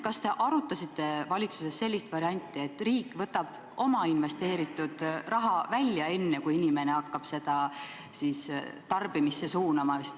Kas te arutasite valitsuses sellist varianti, et riik võtab oma investeeritud raha välja enne, kui inimene hakkab seda tarbimisse suunama?